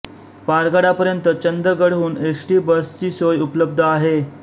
पारगडापर्यंत चंदगडहून S T बसची सोय उपलब्ध आहे